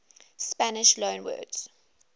spanish loanwords